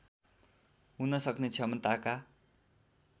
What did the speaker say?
हुन सक्ने क्षमताका